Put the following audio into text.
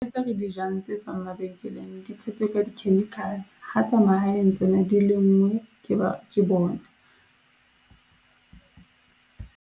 Tse re di jang tse tswang mabenkeleng di tshetswe ka di-chemical, ha tsa mahaeng tsona di lengwe ke ba, ke bona.